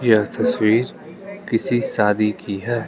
यह तस्वीर किसी शादी की है।